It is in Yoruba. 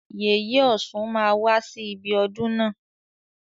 Yèyè ọ̀ṣun máa wá sí ibi ọdún na.